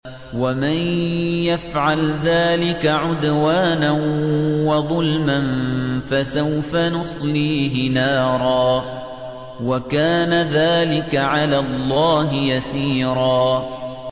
وَمَن يَفْعَلْ ذَٰلِكَ عُدْوَانًا وَظُلْمًا فَسَوْفَ نُصْلِيهِ نَارًا ۚ وَكَانَ ذَٰلِكَ عَلَى اللَّهِ يَسِيرًا